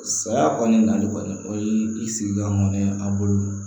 Saya kɔni nali kɔni o ye i sigila ŋɔnɛ an bolo